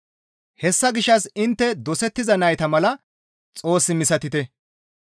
Hessa gishshas intte dosettiza nayta mala Xoos misatite.